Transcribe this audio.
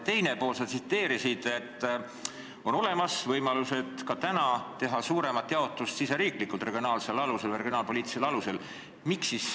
Teiseks, sa märkisid, et ka praegu on olemas võimalus teha suuremat riigisisest jaotust regionaalpoliitilisel alusel.